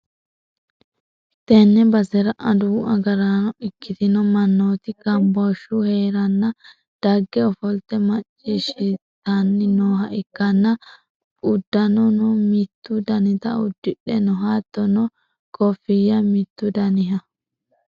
tenne basera adawu agaraano ikkitino mannooti gambooshshu hee'reenna dagge ofolte macciishhsitanni nooha ikkanna, uddanono mittu danita uddidhe no, hattono koofi'ya mittu daniha.